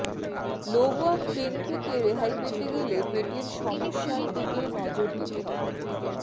লো back pain থেকে রেহাই পেতে গেলে পেটের সমস্য়ার দিকে নজর দিতে হবে